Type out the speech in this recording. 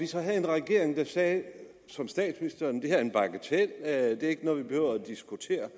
så havde en regering der sagde som statsministeren det er en bagatel det er ikke noget vi behøver at diskutere